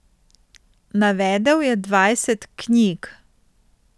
Navedel je dvajset knjig.